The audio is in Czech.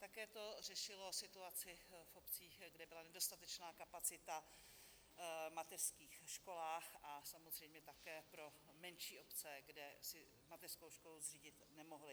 Také to řešilo situaci v obcích, kde byla nedostatečná kapacita v mateřských školách, a samozřejmě také pro menší obce, kde si mateřskou školu zřídit nemohli.